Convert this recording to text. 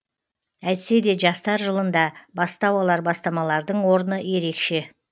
әйтсе де жастар жылында бастау алар бастамалардың орны ерекше